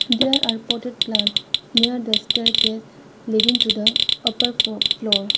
there are potted plant near the staircase leading to the upper flo floor.